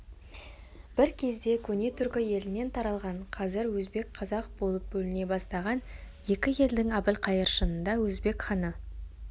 бір кезде көне түркі елінен таралған қазір өзбек қазақ болып бөліне бастаған екі елдің әбілқайыр шынында өзбек ханы